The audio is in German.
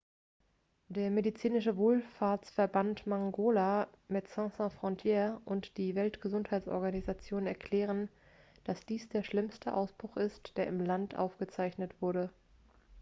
der medizinische wohlfahrtsverband mangola medecines sans frontieres und die weltgesundheitsorganisation erklären dass dies der schlimmste ausbruch ist der im land aufgezeichnet wurde